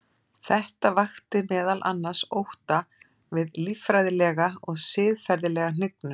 Þetta vakti meðal annars ótta við líffræðilega og siðferðilega hnignun.